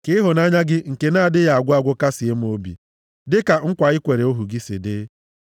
Ka ịhụnanya gị nke na-adịghị agwụ agwụ kasịe m obi, dịka nkwa i kwere ohu gị si dị.